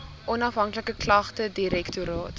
onafhanklike klagtedirektoraat